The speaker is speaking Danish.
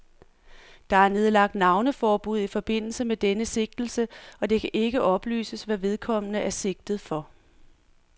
Der er nedlagt navneforbud i forbindelse med denne sigtelse, og det kan ikke oplyses, hvad vedkommende er sigtet for.